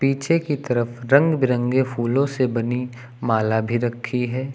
पीछे की तरफ रंग बिरंगे फूलों से बनी माला भी रखी है।